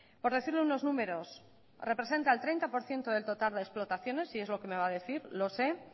por decirle unos números representa el treinta por ciento del total de explotaciones y es lo que me va a decir lo sé